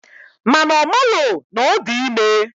Mana omalo na odi ime.